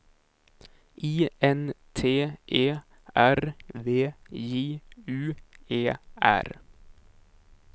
I N T E R V J U E R